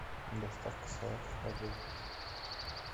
доставка салатов по городу